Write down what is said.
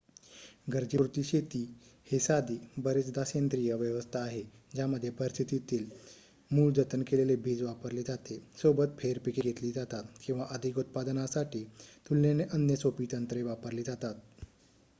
गरजेपुरती शेती हे साधी बरेचदा सेंद्रिय व्यवस्था आहे ज्यामध्ये परिस्थितीतीत मूळ जतन केलेले बीज वापरले जाते सोबत फेर पिके घेतली जातात किंवा अधिक उत्पादनासाठी तुलनेने अन्य सोपी तंत्रे वापरली जातात